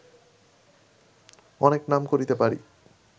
অনেক নাম করিতে পারি